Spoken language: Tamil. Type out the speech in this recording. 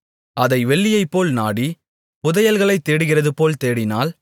அதை வெள்ளியைப்போல் நாடி புதையல்களைத் தேடுகிறதுபோல் தேடினால்